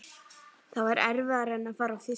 Það er erfiðara en að fara á fyrsta